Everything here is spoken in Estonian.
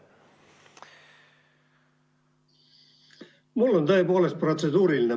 Mul on tõepoolest protseduuriline.